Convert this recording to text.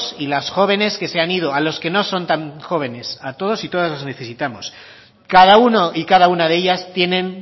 y las jóvenes que se han ido a los que no son tan jóvenes a todos y todas os necesitamos cada uno y cada una de ellas tienen